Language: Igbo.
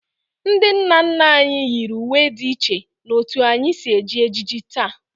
Ndị nna nna anyị yiri uwe dị iche n'otú anyị si eji ejiji taa